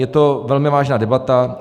Je to velmi vážná debata.